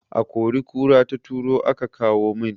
A kori kura ta turo aka kawo min